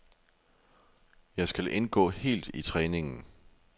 Jeg skal indgå helt i træningen.